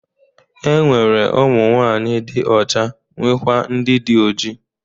E nwere ụmụnwanyị dị ọcha nwekwaa ndị dị oji.